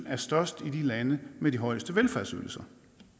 er størst i de lande med de højeste velfærdsydelser